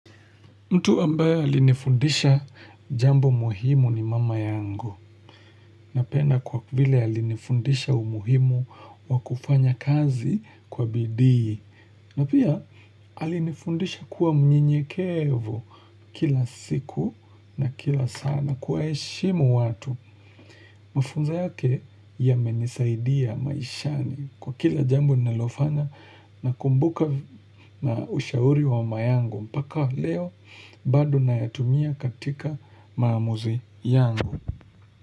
Mtu ambaye alinifundisha jambo muhimu ni mama yangu napenda kwa vile alinifundisha umuhimu wa kufanya kazi kwa bidii na pia alinifundisha kuwa mnyenyekevu kila siku na kila saa na kuwaeshimu watu. Mafunzo yake yamenisaidia maishani kwa kila jambo ninalofanya nakumbuka na ushauri wa mama yangu mpaka leo bado nayatumia katika maamuzi yangu.